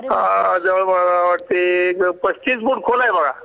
आ मला वाटाय पस्तीस फुट खोल आहे बघा